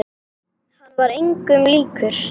Hann var engum líkur.